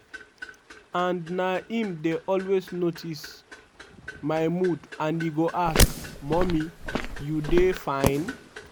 "and na im dey always notice my mood and e go ask: 'mummy you dey fine?'."